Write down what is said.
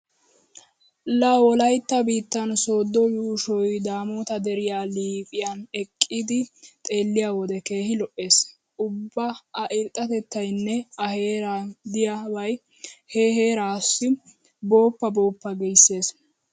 Laa wolaytta biittan sooddo yuushshoy daammota deriya liiphiyan eqqidi xeelliyo wode keehi lo'ees. Ubba a irxxatettaynne a heeran diyabay he harasaa booppa booppa giissees.